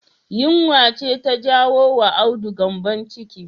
Yunwa ce ta jawo wa Audu gyanbon ciki